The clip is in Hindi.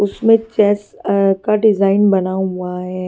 उसमें चेस का डिजाइन बना हुआ है।